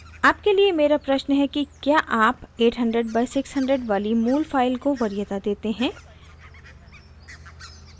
आपके लिए मेरा प्रश्न है कि क्या आप 800/600 वाली my file को वरीयता देते हैं